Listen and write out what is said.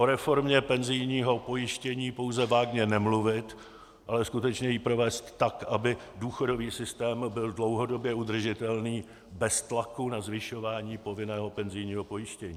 O reformě penzijního pojištění pouze vágně nemluvit, ale skutečně ji provést tak, aby důchodový systém byl dlouhodobě udržitelný bez tlaku na zvyšování povinného penzijního pojištění.